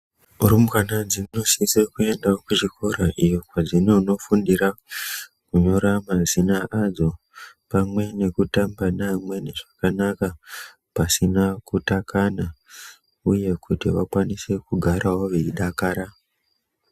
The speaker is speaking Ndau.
Rumbwana dzinofana dzinosise kuenda kuzvikora iyo kwazvinonofundira kunyora mazina adzo pamwe nekutamba neamweni zvakanaka pasina kutakana uye kuti vakwanisewo kugara veidakara